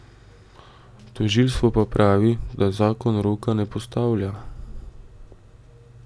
Tožilstvo pa pravi, da zakon roka ne postavlja.